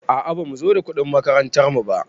A a bamu zo da kuɗin makarantar mu ba.